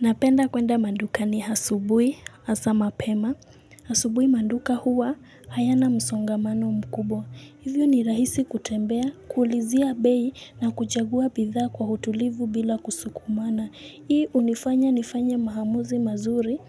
Napenda kwenda madukani asubuhi, hasa mapema. Asubuhi maduka huwa hayana msongamano mkubwa. Hivyo ni rahisi kutembea, kuulizia bei na kuchagua bidhaa kwa utulivu bila kusukumana. Hii hunifanya nifanye maamuzi mazuri